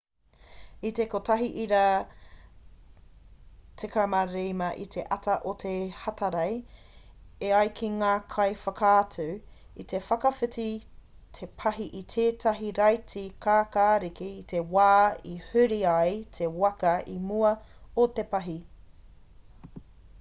i te 1.15 i te ata o te hatarei e ai ki ngā kaiwhakaatu i te whakawhiti te pahi i tētahi raiti kākāriki i te wā i huri ai te waka i mua o te pahi